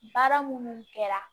Baara minnu kɛra